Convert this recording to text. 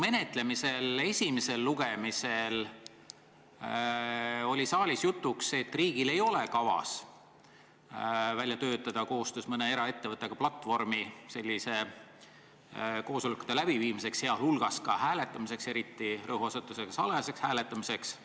Selle eelnõu esimesel lugemisel oli saalis jutuks, et riigil ei ole kavas töötada koostöös mõne eraettevõttega välja platvorm selliste koosolekute läbiviimiseks, sealhulgas ka hääletamiseks ja erilise rõhuasetusega salajaseks hääletamiseks.